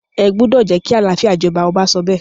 ẹ gbúdọ̀ jẹ́ kí àlàáfíà jọba! ọba sọ bẹ́ẹ̀.